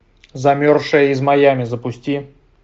замерзшая из майами запусти